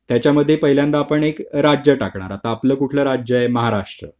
त्याच्यामध्ये पहिल्यांदा आपण एक राज्य टाकणार तर आपला कुठला राज्य आहे महाराष्ट्र